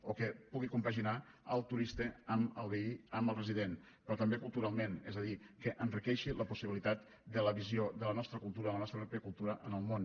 o que pugui compaginar el turista amb el veí amb el resident però també culturalment és a dir que enriqueixi la possibilitat de la visió de la nostra cultura de la nostra pròpia cultura en el món